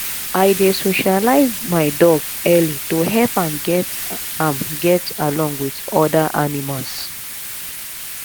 i dey socialize my dog early to help am get am get along with other animals